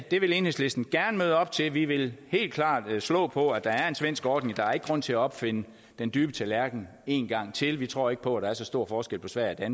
det vil enhedslisten gerne møde op til vi vil helt klart slå på at der er en svensk ordning der er ikke grund til at opfinde den dybe tallerken en gang til vi tror ikke på at der er så stor forskel på sverige